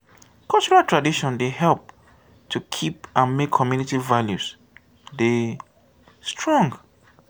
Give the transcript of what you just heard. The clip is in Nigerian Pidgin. cultural tradion dey help to keep and make community values dey strong